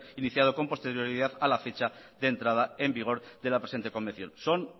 iniciado con posterioridad a la fecha de entrada en vigor de la presente convención son